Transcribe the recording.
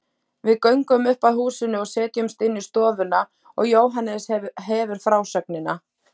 Við göngum upp að húsinu og setjumst inn í stofu og Jóhannes hefur frásögnina.